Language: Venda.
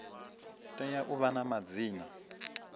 tea u vha na madzina